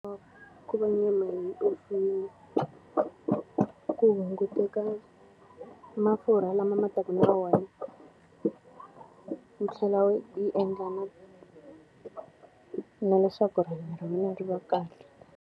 Ku va nyama yi omisiwile ku hunguteka mafurha lama ma taka na yona, yi tlhela yi endla na ku na leswaku rihanyo ra mina ri va kahle.